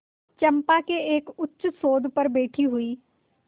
चंपा के एक उच्चसौध पर बैठी हुई